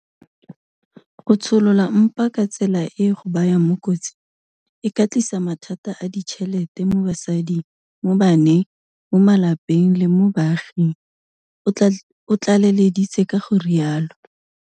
Go tsholola mpa ka tsela e e go bayang mo kotsing e ka tlisa mathata a ditšhelete mo basading, mo baneng, mo malapeng le mo baaging, o tlaleleditse ka go rialo.